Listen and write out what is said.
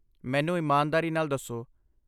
ਮੈਨੂੰ ਇਮਾਨਦਾਰੀ ਨਾਲ ਦੱਸੋ।